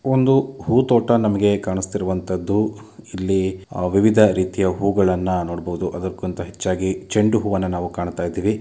ಒಂದು ಹೂತೋಟ ನಮಗೆ ಕಾಣಿಸುತ್ತಿರುವಂಥದ್ದು ಇಲ್ಲಿ ವಿವಿಧ ರೀತಿಯ ಹೂಗಳನ್ನ ನೋಡಬಹುದು ಅದಕ್ಕಿಂತ ಹೆಚ್ಚಾಗಿ ಚೆಂಡು ಹೂವನ್ನ ನಾವು ಕಾಣುತ್ತಾ ಇದೀವಿ.